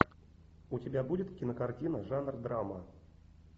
у тебя будет кинокартина жанр драма